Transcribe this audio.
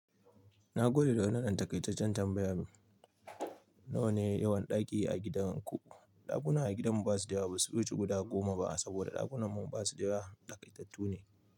Na gode da wannan dantaƙaitaccen tambaya. Nawa ne yawan ɗaki a gidan ku? Ɗakuna a gidanmu ba su da yawa. Ba su ruci guda goma ba saboda ɗakunnanmu ba su da yawa. Daƙaitattune.